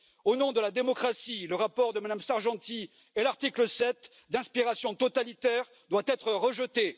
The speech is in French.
Au nom de la démocratie, le rapport de Mme Sargentini et l'article 7, d'inspiration totalitaire, doivent être rejetés.